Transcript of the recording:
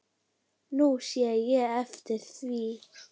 Nú sé ég eftir því.